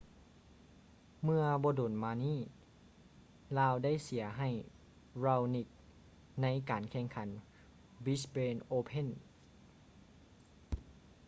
ເມື່ອບໍ່ດົນມານີ້ລາວໄດ້ເສຍໃຫ້ raonic ໃນການແຂ່ງຂັນ brisbane open